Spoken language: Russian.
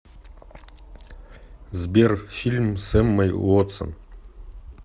сбер фильм с эммой уотсон